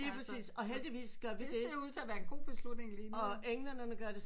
Og lige præcis og heldigvis gør det og englænderne gør det samme